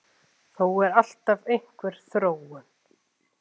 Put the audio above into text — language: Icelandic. Þó er alltaf einhver þróun.